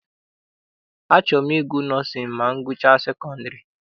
Achọrọ m ịgụ nọọsịn ma m gụchaa sekondiri.